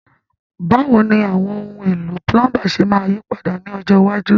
Báwo ni àwọn ohun èlò púlọ́ńbà ṣe máa yí padà ní ọjọ́ iwájú?